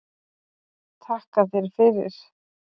Takka þér fyrir